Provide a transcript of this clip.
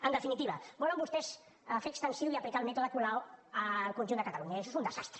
en definitiva volen vostès fer extensiu i aplicar el mètode colau al conjunt de catalunya i això és un desastre